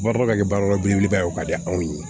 Barokɛ belebeleba ye o ka di anw ye